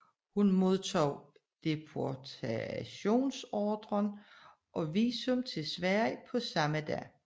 Hun modtog deportationsordren og visum til Sverige på samme dag